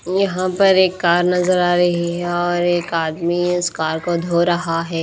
यहाँ पर एक कार नजर आ रही है और एक आदमी उस कार को धो रहा है।